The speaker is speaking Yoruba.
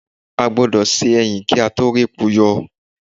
A gbọ́dọ̀ se ẹyìn kí a tó répo yọ